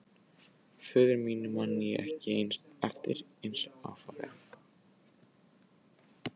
Föður mínum man ég ekki eins vel eftir og mömmu.